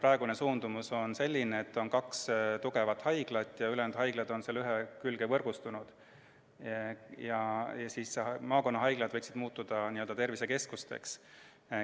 Praegune suundumus on selline, et meil on kaks tugevat haiglat ja ülejäänud haiglad on nende külge võrgustunud ning maakonnahaiglad võiksid muutuda tervisekeskusteks.